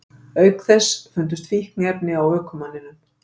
Auk þess fundust fíkniefni á ökumanninum